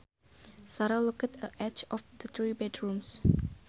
Sara looked at each of the three bedrooms